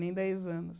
Nem dez anos.